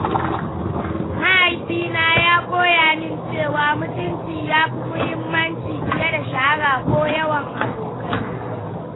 Mahaifina ya koya min cewa mutunci yafi muhimmanci fiye da shahara ko yawan abokai.